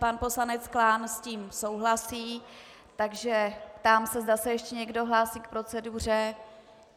Pan poslanec Klán s tím souhlasí, takže ptám se, zda se ještě někdo hlásí k proceduře.